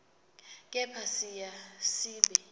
kepha siya siba